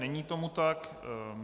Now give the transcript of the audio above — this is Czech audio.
Není tomu tak.